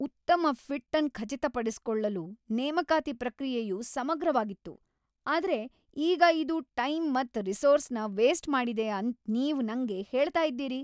ಉತ್ತಮ ಫಿಟ್ ಅನ್ ಖಚಿತಪಡಿಸಿಕೊಳ್ಳಲು ನೇಮಕಾತಿ ಪ್ರಕ್ರಿಯೆಯು ಸಮಗ್ರವಾಗಿತ್ತು, ಆದ್ರೆ ಈಗ ಇದು ಟೈಮ್ ಮತ್ ರಿಸೋರ್ಸ್ನ ವೇಸ್ಟ್ ಮಾಡಿದೆ ಅಂತ್ ನೀವ್ ನಂಗೆ ಹೇಳ್ತ ಇದ್ದೀರಿ.